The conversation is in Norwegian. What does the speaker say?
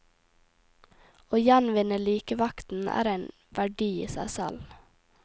Å gjenvinne likevekten er en verdi i seg selv.